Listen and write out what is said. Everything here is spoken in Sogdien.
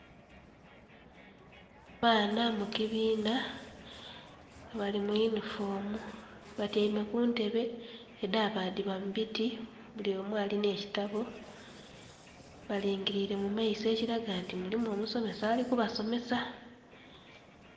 Abaana mu kibiina nga bali mu yunifoomu, batyaime ku ntebe edhabadhibwa mu biti. Buli omu alina ekitabo, balingiliire mu maiso ekiraga nti mulimu omusomesa alì kubasomesa.